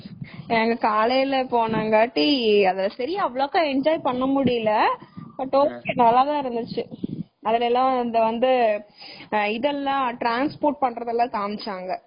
நாங்க காலையில போனோம் காட்டி அத சரியா அவலோக்கா enjoy பண்ணமுடியல but ok நல்லா தான் இருந்துச்சு அதுல எல்லாம் வந்து இதெல்லாம் transport பண்றத எல்லாம் காமிச்சாங்க.